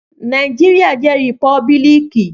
Naijiria jẹ rìpọ́bílíkì